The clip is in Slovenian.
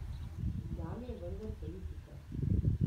Tam je vendar politika.